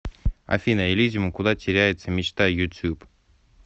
афина элизиум куда теряется мечта ютуб